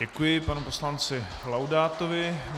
Děkuji panu poslanci Laudátovi.